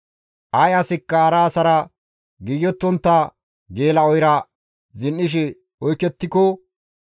Ay asikka hara asara giigettontta geela7oyra zin7ishe oykettiko,